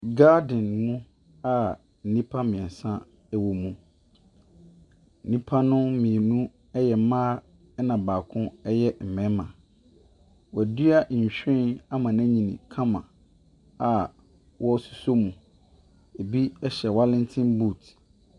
Garden mu a nnipa mmiɛnsa wɔ mu. Nnipa no mmienu yɛ mmaa na baako yɛ barima. Wɔadua nhwiren ama no anyin kama a wɔresosɔ mu. Ebi hyɛ wɛlɛntenbuut.